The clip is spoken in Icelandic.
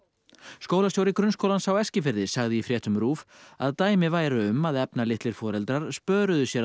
skólastjóri grunnskólans á Eskifirði sagði í fréttum RÚV að dæmi væru um að efnalitlir foreldrar spöruðu sér að